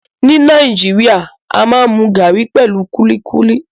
Ni Nàìjíríà, a maa n mu garri pẹlu kuli kuli